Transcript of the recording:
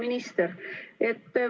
Hea minister!